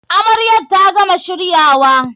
Amaryar ta gama shiryawa.